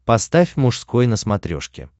поставь мужской на смотрешке